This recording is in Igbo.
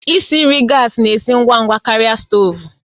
Isi nri gas na-esi ngwa ngwa karịa stovu